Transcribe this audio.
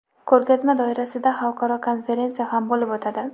Ko‘rgazma doirasida xalqaro konferensiya ham bo‘lib o‘tadi.